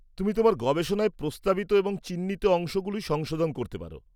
তুমি তোমার গবেষণায় প্রস্তাবিত এবং চিহ্নিত অংশগুলি সংশোধন করতে পার।